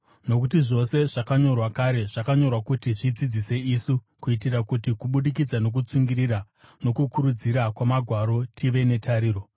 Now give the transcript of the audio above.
Nokuti zvose zvakanyorwa kare zvakanyorerwa kuti zvidzidzise isu, kuitira kuti, kubudikidza nokutsungirira nokukurudzira kwamagwaro, tive netariro.